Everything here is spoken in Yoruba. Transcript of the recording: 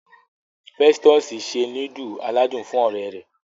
Festusì se nudulu aládùn fún ọ̀rẹ́ rẹ̀.